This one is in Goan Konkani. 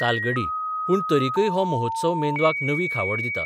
तालगडी पूण तरिकय हो महोत्सव मेंदवाक नवी खावड दिता.